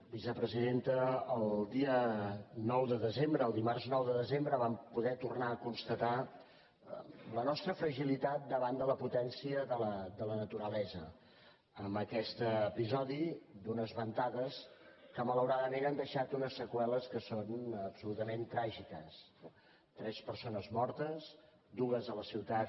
vicepresidenta el dia nou de desembre el dimarts nou de desembre vam po·der tornar a constatar la nostra fragilitat davant de la potència de la naturalesa amb aquest episodi d’unes ventades que malauradament han deixat unes seqüe·les que són absolutament tràgiques tres persones mor·tes dues a la ciutat